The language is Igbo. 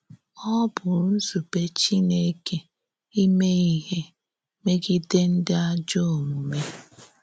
Ọ bụ̀ ńzúbé Chìnèkè ímé íhè mé̄gìdè ǹdí àjọ̀ ọ̀múmè.